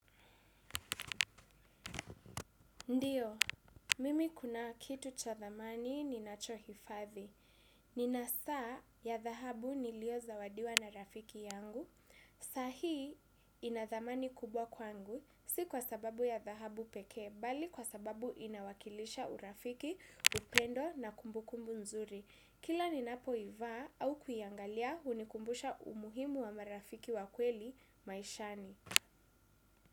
Ndiyo, mimi kuna kitu cha thamani ninacho hifadhi. Nina saa ya dhahabu nilio zawadiwa na rafiki yangu. Sa hii ina thamani kubwa kwangu, si kwa sababu ya dhahabu pekee, bali kwa sababu inawakilisha urafiki, upendo na kumbu kumbu nzuri. Kila ni napo ivaa au kuiangalia hunikumbusha umuhimu wa marafiki wakweli maishani.